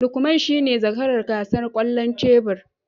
Lukman shine zakaran gasar kwallon tebur